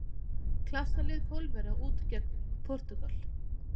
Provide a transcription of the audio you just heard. Klassa lið Pólverja út gegn Portúgal.